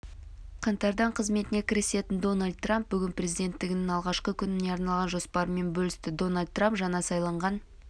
қаңтардан қызметіне кірісетін дональд трамп бүгін президенттігінің алғашқы күніне арналған жоспарымен бөлісті дональд трамп жаңа сайланған